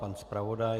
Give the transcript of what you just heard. Pan zpravodaj?